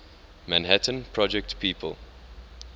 manhattan project people